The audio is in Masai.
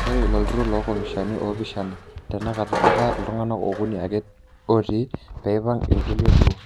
Ore iloturur lokamishani opishana tenakata etaa iltunganak okuni ake otii peipang ikulie duo.